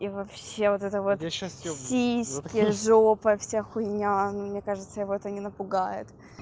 и вообще вот это вот сейчас сиськи жопа вся хуиня мне кажется это не напугает